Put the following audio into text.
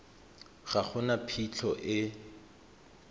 ga go na phitlho e